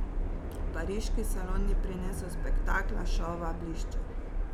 Pariški salon ni prinesel spektakla, šova, blišča.